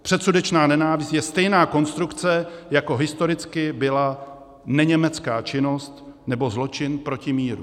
Předsudečná nenávist je stejná konstrukce, jako historicky byla neněmecká činnost nebo zločin proti míru.